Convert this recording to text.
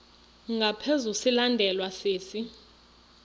ngaphezu silandelwa sisi